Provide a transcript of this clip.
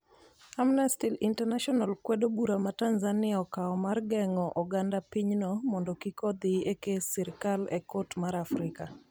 Amnesty International kwedo bura ma Tanzania okawo mar geng'o oganda pinyno mondo kik odhi e kes sirikal e Kot mar Afrika